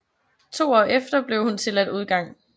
To år efter blev hun tilladt udgang